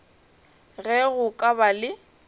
ge go ka ba le